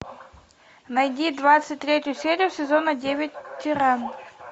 найди двадцать третью серию сезона девять тиран